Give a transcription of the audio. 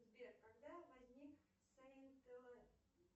сбер когда возник